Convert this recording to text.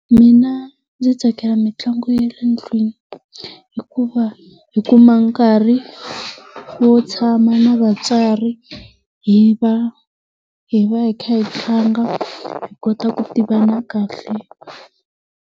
Mina ndzi tsakela mitlangu ya le ndlwini hikuva hi kuma nkarhi wo tshama na vatswari, hi va hi va hi kha hi tlanga hi kota ku tivana kahle.